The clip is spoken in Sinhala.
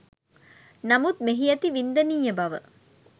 නමුත් මෙහි ඇති වින්දනීය බව